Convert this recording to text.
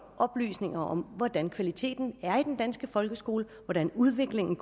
oplysninger om hvordan kvaliteten er i den danske folkeskole og hvordan udviklingen